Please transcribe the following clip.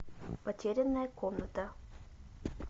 потерянная комната